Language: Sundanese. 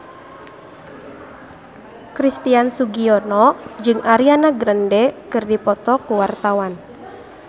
Christian Sugiono jeung Ariana Grande keur dipoto ku wartawan